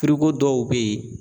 dɔw bɛ ye